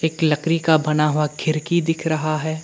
एक लकड़ी का बना हुआ खिड़की दिख रहा है।